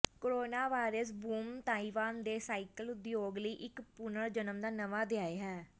coronavirus boom Taiwan ਦੇ cycle ਉਦਯੋਗ ਲਈ ਇਕ ਪੁਨਰ ਜਨਮ ਦਾ ਨਵਾਂ ਅਧਿਆਇ ਹੈ